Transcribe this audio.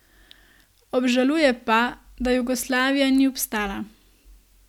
Obžaluje pa, da Jugoslavija ni obstala.